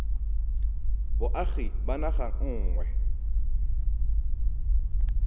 boagi ba naga e nngwe